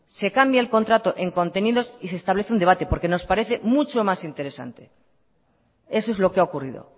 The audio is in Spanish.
se cambia el contrato en contenidos y se establece un debate porque nos parece mucho más interesante eso es lo que ha ocurrido